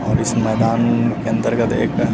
और इस मैदान के अंदर गत एक --